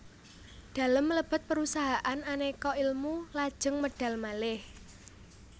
Dalem mlebet perusahaan Aneka Ilmu lajeng medal malih